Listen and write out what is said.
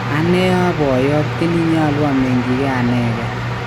Ane aa poyot, ini nyalu amenyinge anenge?